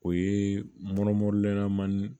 O ye mɔnena man ni